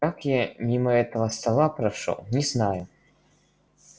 как я мимо этого стола прошёл не знаю